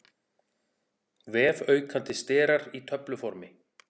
Vefaukandi sterar í töfluformi.